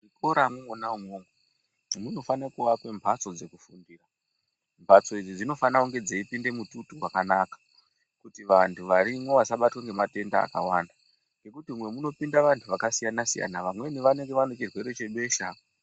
Muzvikora mwona munokasira kurapwa mbatso dzekufundira mbatso idzi dzinofana kunge dzeipinda mututu wakanaka kuti vantu varimo vasabatwa nematenda akawanda ngekuti umwu munopinda vantu vakasiyana siyana vamweni vanenge vane chirwere chebesha.